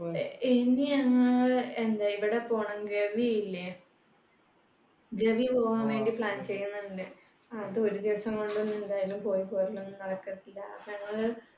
ഇനി അങ്ങ് എന്താ ഇവിടെ പോകണം ഗവിയില്ലെ ഗവി പോകാൻ വേണ്ടി plan ചെയ്യുന്നുണ്ട്. അത് ഒരു ദിവസം കൊണ്ടൊന്നും എന്തായാലും പോയിപ്പോരലൊന്നും നടക്കത്തില്ല അപ്പൊ ഞങ്ങള്